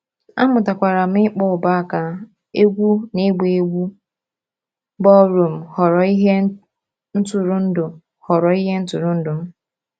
Amụtakwara m ịkpọ ubo-aka, egwu na ịgba egwu ballroom ghọrọ ihe ntụrụndụ ghọrọ ihe ntụrụndụ m.